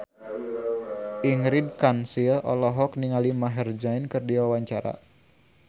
Ingrid Kansil olohok ningali Maher Zein keur diwawancara